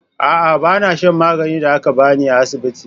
A'a, ba na shan maganin da aka ba ni a asibiti.